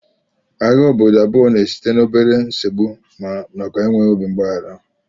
Agha obodo abụọ na-esite n'obere nsogbu nakwa enweghị obi mgbaghara